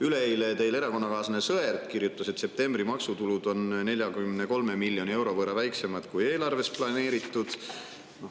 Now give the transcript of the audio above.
Üleeile kirjutas teie erakonnakaaslane Sõerd, et septembri maksutulud on 43 miljoni euro võrra väiksemad, kui eelarves on planeeritud.